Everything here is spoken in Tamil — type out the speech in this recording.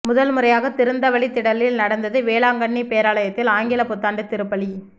முதன்முறையாக திறந்தவெளி திடலில் நடந்தது வேளாங்கண்ணி பேராலயத்தில் ஆங்கில புத்தாண்டு திருப்பலி